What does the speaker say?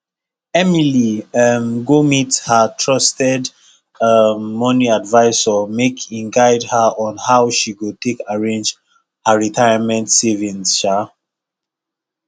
emily um go meet her trusted um money advisor make e guide her on how she go take arrange her retirement savings um